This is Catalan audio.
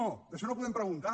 sobre això no podem preguntar